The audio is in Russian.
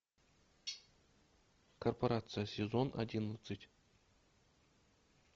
корпорация сезон одиннадцать